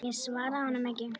Ég svaraði honum ekki.